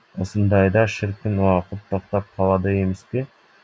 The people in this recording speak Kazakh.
осындайда шіркін уақыт тоқтап қалады емеспе